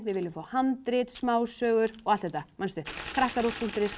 við viljum fá handrit smásögur og allt þetta manstu krakkaruv punktur is